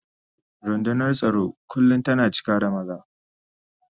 Rundunar tsaro kullum tana cika da maza.